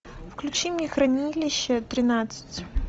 включи мне хранилище тринадцать